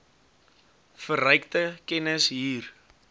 verrykte kennis hier